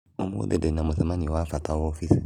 Ũmũthĩ ndĩ na mũcemanĩo wa bata ofisi